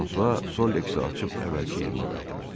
Fransua Soliksi açıb əvvəlki yerinə qaytardı.